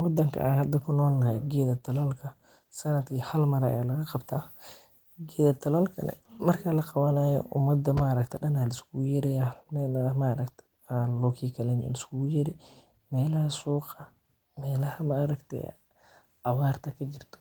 Wadanka aan hada kunool nahay geeda talaalka sanadki hal mar ayaa laga qabtaa dalalka kale marka laqabanaayo, meelaha ayaa liskugu yeeri meelaha suuqa iyo meelaha abaarta kajirto